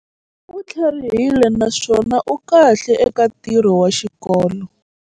U tlharihile naswona u kahle eka ntirho wa xikolo.